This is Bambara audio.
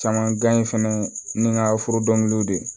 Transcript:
Caman gan in fɛnɛ ni n ka foro dɔnkiliw de